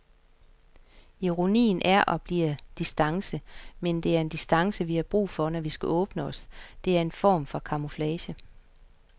Ironien er og bliver distance, men det er en distance, vi har brug for, når vi skal åbne os, det er en form for camouflage.